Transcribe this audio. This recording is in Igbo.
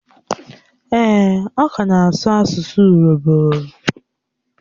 Èè, ọ ka na-asụ asụ urobo